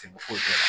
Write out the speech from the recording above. foyi t'o la